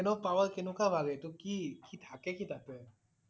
Brain ৰ power কেনেকুৱা বাঢ়ে এইটো কি? কি থাকে কি তাতে?